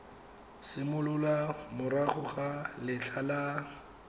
simolola morago ga letlha la